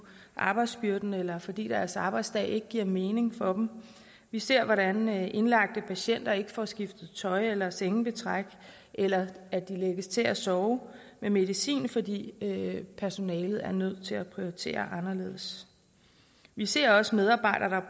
arbejdsbyrden eller fordi deres arbejdsdag ikke giver mening for dem vi ser hvordan indlagte patienter ikke får skiftet tøj eller sengebetræk eller at de lægges til at sove med medicin fordi personalet er nødt til at prioritere anderledes vi ser også medarbejdere der